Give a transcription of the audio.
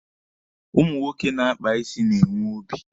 Ụmụ nwoke na-akpa isi na-enwe obi.